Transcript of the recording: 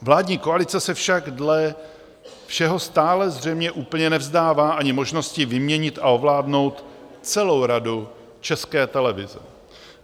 Vládní koalice se však dle všeho stále zřejmě úplně nevzdává ani možnosti vyměnit a ovládnout celou Radu České televize.